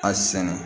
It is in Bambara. A sɛnɛ